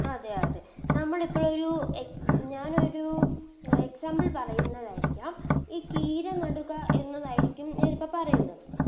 അതെ അതെ നമ്മളിപ്പോ ഒരു എക് ഞാനൊരു Example പറയുന്നതായിരിക്കും ഈ കീര നടുക എന്നതായിരിക്കും ഞാനിപ്പോ പറയുന്നത്